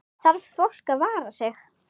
Þarf fólk að vara sig?